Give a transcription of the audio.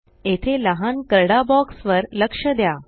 येथे लहान करडा बॉक्स वर लक्ष द्या